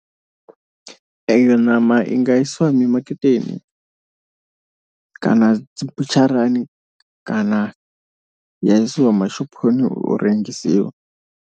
Eyo ṋama i nga isiwa mi maketeni kana dzi butsharani kana ya isiwa mashophoni u rengisiwa.